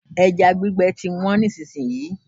Ẹja gbígbẹ ti wọ́n nísìsiyìí.